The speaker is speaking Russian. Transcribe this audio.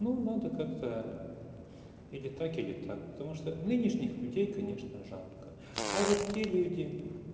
ну надо как-то или так или так потому что нынешних людей конечно жалко а вот те люди